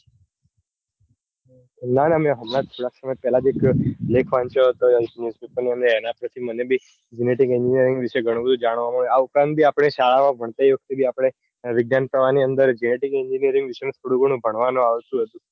ના ના મેં હમણાં પેલા થી જ લેખ વાંચ્યો હતો. અને એના પાર થી મને બી genetic engineering વિશે ગણું જાણવા મળ્યું. આ ઉપરાંત બી આપડે શાળા માં ભણતી વખતે આપડે વિજ્ઞાન પ્રવાહ ની અંદર genetic engineering વિશે થોડું ગણું ભણવાનું આવતું હતું.